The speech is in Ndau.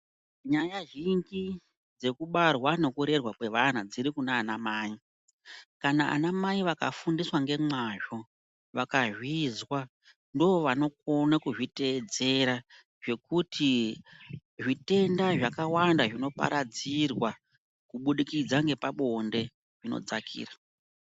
Nyaya zhinji dzekubarwa nekurerwa kwevana dziri kunanamai kana anamai vakafundiswa ngemazvo vakazvizwa ndivo vanokone kuzviteedzera zvekuti zvitenda zvakawanda zvinoparadzirwa kubudikidza ngepabonde zvinodzakira.